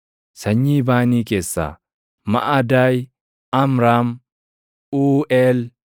Sanyii Baanii keessaa: Maʼadaay, Amraam, Uuʼeel,